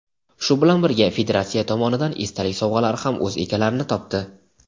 shu bilan birga federatsiya tomonidan esdalik sovg‘alari ham o‘z egalarini topdi.